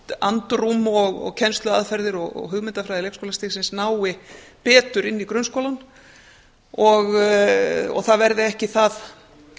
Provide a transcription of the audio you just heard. andrúm og kennsluaðferðir og hugmyndafræði leikskólastigsins nái betur inn í grunnskólann og það verði ekki það